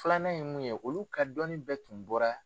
Filanan ye mun ye olu ka dɔnni bɛɛ tun bɔra